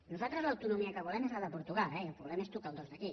nosaltres l’autonomia que volem és la de portugal i el que volem és tocar el dos d’aquí